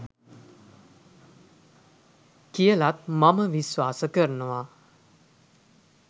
කියලත් මම විශ්වාස කරනවා